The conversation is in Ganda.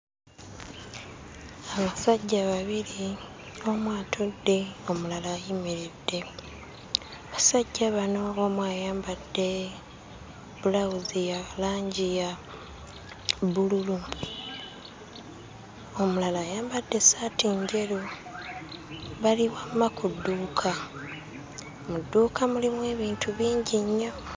Abasajja babiri omu atudde omulala ayimiridde, abasajja bano omu ayambadde bbulawuzi ya langi ya bbululu omulala ayambadde essaati njeru. Bali wamma ku dduuka, mu dduuka mulimu abintu bingi nnyo!